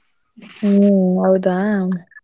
ಹ್ಮ್ ಹೌದ.